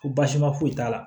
Ko baasima foyi t'a la